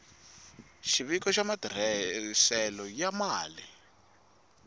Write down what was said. xiviko xa matirhiselo ya mali